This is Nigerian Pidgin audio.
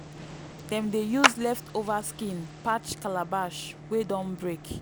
dem dey use leftover skin patch calabash wey don break.